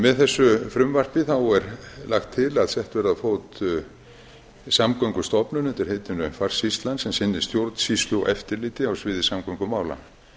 með frumvarpi þessu þá er lagt til að sett verði á fót samgöngustofnun undir heitinu farsýslan sem sinni stjórnsýslu og eftirliti á sviði samgöngumála